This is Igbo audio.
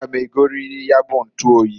A ga m egoririri nya bu ntuoyi.